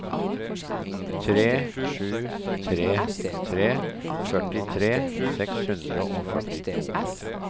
tre sju tre tre førtitre seks hundre og førtito